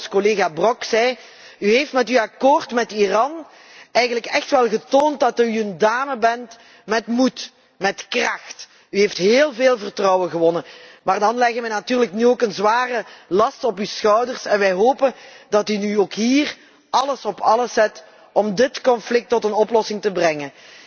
Het is zoals collega Brok zei u heeft met uw akkoord met Iran eigenlijk echt wel getoond dat u een dame bent met moed, met kracht. U heeft heel veel vertrouwen gewonnen. Maar dan leggen wij natuurlijk nu ook een zware last op uw schouders en wij hopen dat u ook hier alles op alles zet om dit conflict tot een oplossing te brengen.